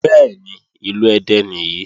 Bẹ́ẹ̀ni, ìlú Ẹdẹ nìyí.